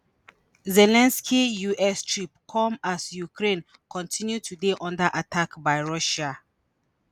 zelensky us trip come as ukraine continue to dey under attack by russia.